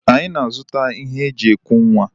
Anyi na-azụta ihe e ji eku nwa.